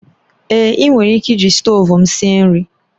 Èé, ị nwere ike iji stovu m sie nri